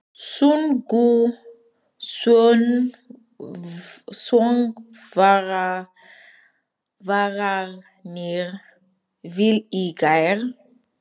Sungu söngvararnir vel í gær?